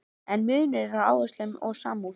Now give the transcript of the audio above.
En munur er á áherslum og samúð.